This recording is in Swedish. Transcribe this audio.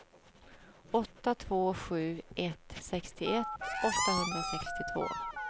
åtta två sju ett sextioett åttahundrasextiotvå